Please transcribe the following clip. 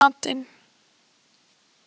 Vinni, hvað er í matinn?